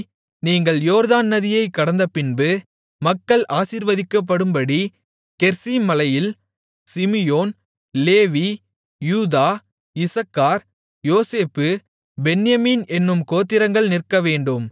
நீங்கள் யோர்தான் நதியைக் கடந்தபின்பு மக்கள் ஆசீர்வதிக்கப்படும்படி கெரிசீம் மலையில் சிமியோன் லேவி யூதா இசக்கார் யோசேப்பு பென்யமீன் என்னும் கோத்திரங்கள் நிற்கவேண்டும்